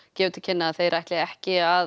gefur til kynna að þeir ætli ekki að